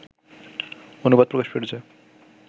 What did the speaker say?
অনুবাদ প্রকাশ করেছে